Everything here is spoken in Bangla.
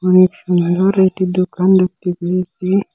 খুব সুন্দর একটি দোকান দেখতে পেয়েছি।